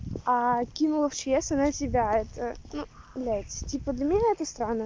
а кинул в чс она себя это ну блядь типа для меня это странно